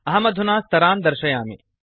अहमधुना स्तरान् दर्शयामि